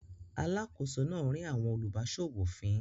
Alákòóso náà rín àwọn olùbáṣòwò fín.